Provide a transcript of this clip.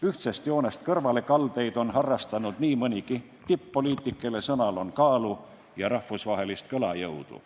Ühtsest joonest kõrvalekaldumist on harrastanud nii mõnigi tipp-poliitik, kelle sõnal on kaalu ja rahvusvahelist kõlajõudu.